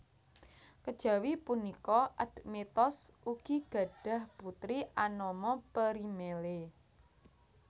Kejawi punika Admetos ugi gadhah putri anama Perimele